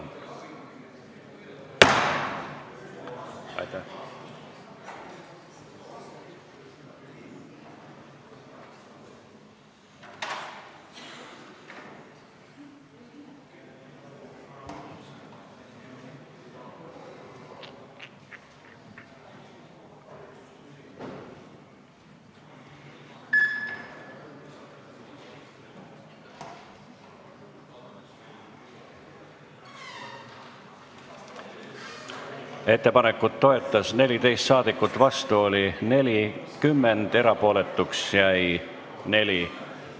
Hääletustulemused Ettepanekut toetas 14 rahvasaadikut, vastu oli 40, erapooletuks jäi 4.